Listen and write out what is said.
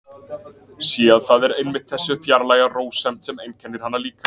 Sé að það er einmitt þessi fjarlæga rósemd sem einkennir hana líka.